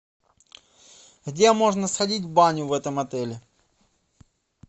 где можно сходить в баню в этом отеле